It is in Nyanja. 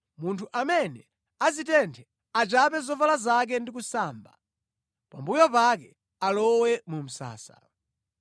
Munthu amene azitenthe achape zovala zake ndi kusamba. Pambuyo pake alowe mu msasa.